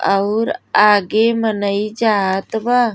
अउर आगे मन ई जात बा।